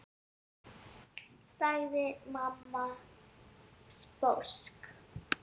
sagði mamma sposk.